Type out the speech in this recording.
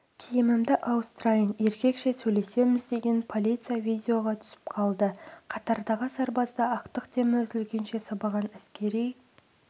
киімімді ауыстырайын еркекше сөйлесеміз деген полиция видеоға түсіп қалды қатардағы сарбазды ақтық демі үзілгенше сабаған әскери